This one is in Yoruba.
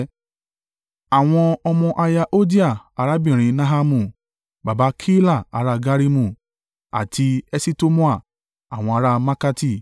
Àwọn ọmọ aya Hodiah arábìnrin Nahamu, baba Keila ará Garimu, àti Eṣitemoa àwọn ará Maakati.